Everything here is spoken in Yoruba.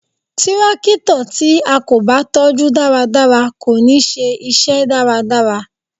Tírákítọ̀ tí a kò bá tọ́ jú dáradára kò ní ṣe iṣẹ́ dáradára